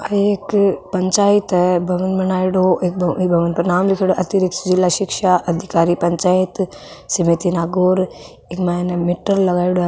आ एक पंचायत है भवन बनायेडो एक भवन पर नाम लीखेड़ो अतिरिक्त जिला शिक्षा अधिकारी पंचायत समिति नागौर इक माइन मीटर लगायेडो है।